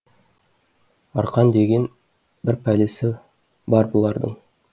арқан деген бір пәлесі бар бұлардың